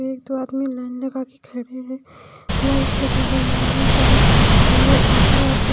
एक दो आदमी लाइन लगा के खड़े हैं लाइट लगी हुई है बाइक खड़ी हुई है दो तीन आदमी--